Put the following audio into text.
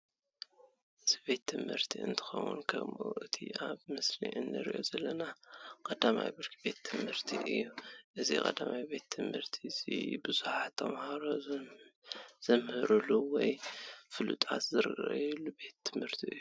እዚ ቤት ትምህርቲ እንትኮን ከም እቲ ኣብ ምስሊ እንሪኦ ዘለና 1ይ ብርኪ ቤት ትምህቲ እዩ። እዚ ቀዳማይ ቤት ትምህርቲ ቡዙሓተ ተማሃሮ ዘምህርሉ ወይ ፍልጠት ዝረክብሉ ቤት ትምህርቲ እዩ።